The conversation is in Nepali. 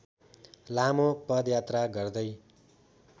लामो पदयात्रा गर्दै